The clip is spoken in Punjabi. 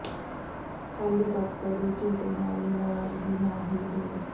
ਹੈਲੀਕਾਪਟਰ ਦੇ ਝੂਟੇ ਨਾਲ ਵੀ ਨਰਾਜ਼ਗੀ ਨਾ ਹੋਈ ਦੂਰ